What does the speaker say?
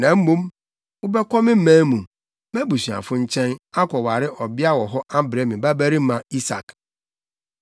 Na mmom, wobɛkɔ me man mu, mʼabusuafo nkyɛn, akɔware ɔbea wɔ hɔ abrɛ me babarima Isak.’